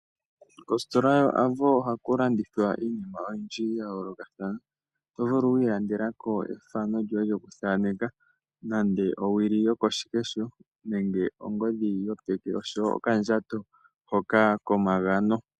Ositola yo Avo ohaku landithwa iinima ya yoolokathana. Oto vulu oku ilandela ko ethano lyoye lyoku thaaneka, nenge owili yoko shikesho, nenge ongodhi yopeke osho wo okandjato hoka komagano.